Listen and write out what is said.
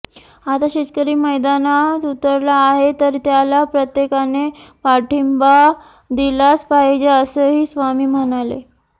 आता शेतकरी मैदानात उतरला आहे तर त्याला प्रत्येकाने पाठिंबा दिलाच पाहिजे असंही स्वामी म्हणाले